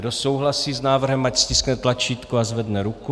Kdo souhlasí s návrhem, ať stiskne tlačítko a zvedne ruku.